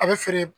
A bɛ feere